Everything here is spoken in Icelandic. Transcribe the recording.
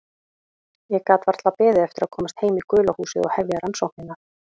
Ég gat varla beðið eftir að komast heim í gula húsið og hefja rannsóknirnar.